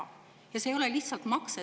See ei ole lihtsalt makse!